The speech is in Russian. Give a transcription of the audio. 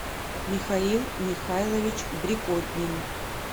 михаил михайлович брекотнин